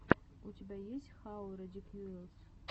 у тебя есть хау редикьюлэс